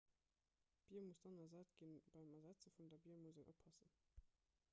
d'bier muss dann ersat ginn beim ersetze vun der bier muss een oppassen